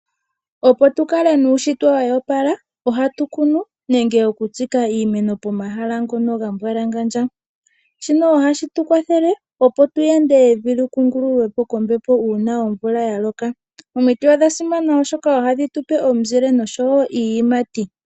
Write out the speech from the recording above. Opo tu kale nuushitwe wa opala ohatu kunu nenge okutsika iimeno pomahala ngoka ga mbwalangandja. Shino ohashi tu kwathele, opo tu yande evi li kungululwe po kombepo uuna omvula ya loka. Omiti odha simana, oshoka ohadhi tu pe omizile nosho wo iiyimati.